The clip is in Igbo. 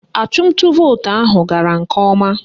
Achụmnta vootu ahụ gara nke ọma